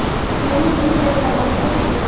mening eng katta baxtim shu.